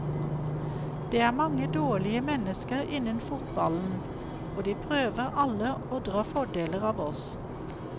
Det er mange dårlige mennesker innen fotballen, og de prøver alle å dra fordeler av oss.